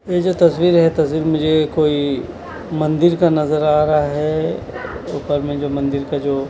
ये जो तस्वीर है ये तस्वीर मुझे कोई मंदिर का नज़र आ रहा है ऊपर में जो मंदिर का जो --